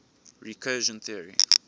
recursion theory